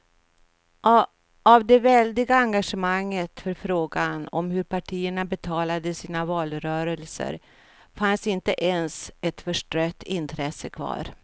Av det väldiga engagemanget för frågan om hur partierna betalade sina valrörelser fanns inte ens ett förstrött intresse kvar.